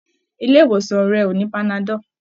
Ilé ìwòsàn rẹ ò ní panadol.